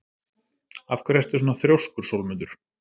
Af hverju ertu svona þrjóskur, Sólmundur?